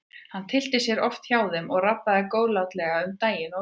Hann tyllti sér oft hjá þeim og rabbaði góðlátlega um daginn og veginn.